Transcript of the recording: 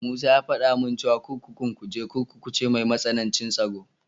Musa ya faɗa min cewa kurkukun Kuje Kurkuku ce mai matsanancin tsaro.